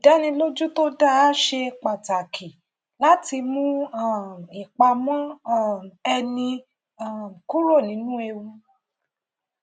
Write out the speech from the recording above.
idánilójú to dáa ṣe pàtàkì láti mú um ìpamọ um ẹni um kúrò nínú ewu